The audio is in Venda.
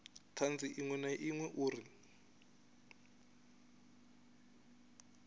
thanzi iṅwe na iṅwe uri